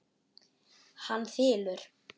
Hann þylur